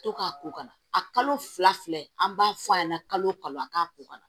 To k'a ko ka na a kalo fila filɛ an b'a fɔ a ɲɛna kalo wo kalo an k'a ko kana